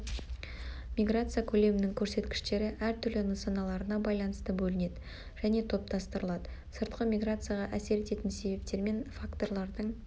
миграция көлемінің көрсеткіштері әр түрлі нысаналарына байланысты бөлінеді және топтастырылады сыртқы миграцияға әсер ететін себептермен факторлардың